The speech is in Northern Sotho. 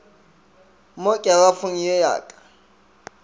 mo kerafong ye ya ka